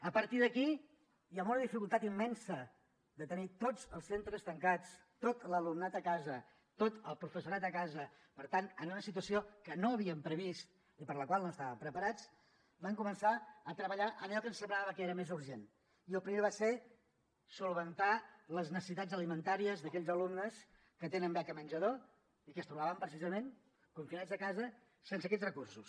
a partir d’aquí i amb una dificultat immensa de tenir tots els centres tancats tot l’alumnat a casa tot el professorat de casa per tant en una situació que no havíem previst i per la qual no estàvem preparats vam començar a treballar en allò que ens semblava que era més urgent i el primer va ser resoldre les necessitats alimentàries d’aquells alumnes que tenen beca menjador i que es trobaven precisament confinats a casa sense aquests recursos